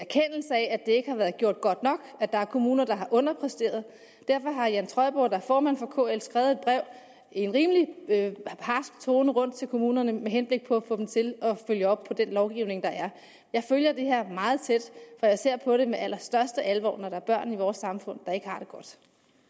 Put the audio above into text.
at det ikke har været gjort godt nok at der er kommuner der har underpræsteret og derfor har jan trøjborg der er formand for kl skrevet i en rimelig harsk tone til kommunerne med henblik på at få dem til at følge op på den lovgivning der er jeg følger det her meget tæt og jeg ser på det med allerstørste alvor når der er børn i vores samfund der ikke har det godt